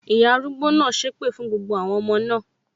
Ìyá arúgbó náà sépè fún gbogbo àwọn ọmọ náà